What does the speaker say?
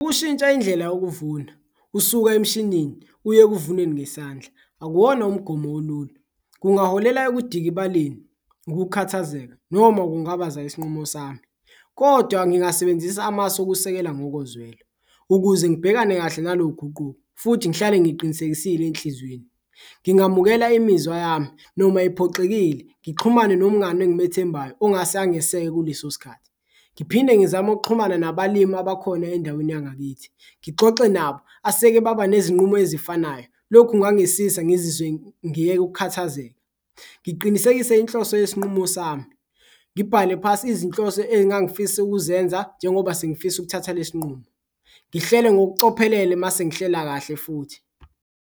Ukushintsha indlela yokuvuna usuka emshinini uye ekuvuneni ngesandla akuwona umgomo olula kungaholela ekudikibaleni, ukukhathazeka noma ukungabaza isinqumo sami kodwa ngingasebenzisa amasu okusekela ngokozwelo, ukuze ngibhekane kahle nalo guquko futhi ngihlale ngiqinisekisile enhlizweni. Ngingamukela imizwa yami noma iphoxekile, ngixhumane nomngani engimethembayo ongase angeseke kuleso sikhathi, ngiphinde ngizame ukuxhumana nabalimi abakhona endaweni yangakithi ngixoxe nabo aseke baba nezinqubo ezifanayo. Lokhu kungangisiza ngizizwe ngiyeke ukukhathazeka, ngiqinisekise inhloso yesinqumo sami, ngibhale phasi izinhloso engangifisa ukuzenza njengoba sengifisa ukuthatha lesi nqumo, ngihlele ngokucophelela mase ngihlela kahle futhi.